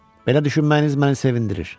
Belə düşünməyiniz məni sevindirir.